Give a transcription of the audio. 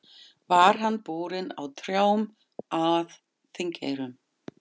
Var hann borinn á trjám að Þingeyrum.